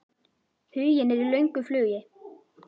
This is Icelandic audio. Huginn er í löngu flugi.